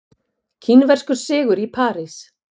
Kínverskur sigur í París